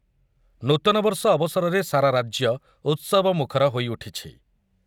ନୂତନବର୍ଷ ଅବସରରେ ସାରା ରାଜ୍ୟ ଉତ୍ସବମୁଖର ହୋଇଉଠିଛି ।